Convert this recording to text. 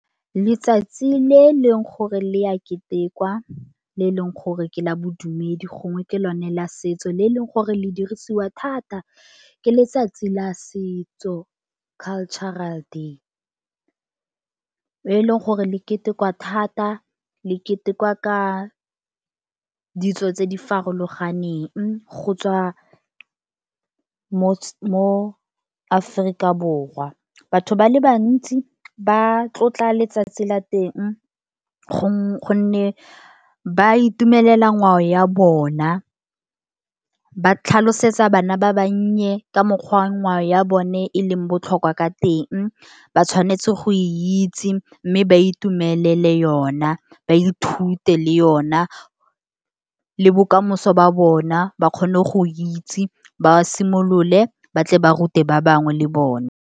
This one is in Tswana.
Letsatsi le leng gore le ya ketekwa, le leng gore ke la bodumedi, gongwe ke lone la setso le leng gore le dirisiwa thata ke letsatsi la setso, Cultural Day. Le leng gore le ketekwa thata le ketekwa ka ditso tse di farologaneng, go tswa mo Aforika Borwa, batho ba le bantsi ba tlotla letsatsi la teng gonne ba itumelela ngwao ya bona, ba tlhalosetsa bana ba bannye ka mokgwa ngwao ya bone e leng botlhokwa ka teng, ba tshwanetse go e itse, mme ba itumelele yona, ba ithute le yona le bokamoso ba bona, ba kgone go itse ba simolole ba tle ba rute ba bangwe le bone.